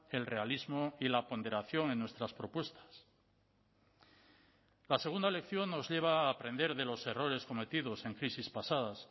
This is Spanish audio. el realismo y la ponderación en nuestras propuestas la segunda lección nos lleva a aprender de los errores cometidos en crisis pasadas